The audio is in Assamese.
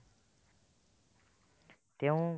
তেওঁ